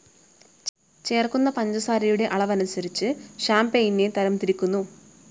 ചേർക്കുന്ന പഞ്ചസാരയുടെ അളവനുസരിച്ച് ഷാം‌പെയ്നെ തരം തിരിക്കുന്നു